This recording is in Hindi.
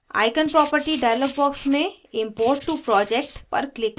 icon property dialog box में import to project पर click करें